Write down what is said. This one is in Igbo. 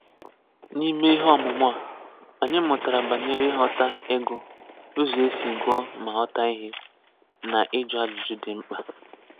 N'ime ihe ọmụmụ a, anyị mụtara banyere ịghọta ịgụ, uzo esi gụọ ma ghọta ihe, na iju ajụjụ dị mkpa.